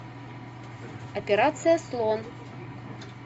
операция слон